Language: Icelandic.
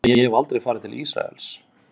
En ég hef aldrei farið til Ísraels.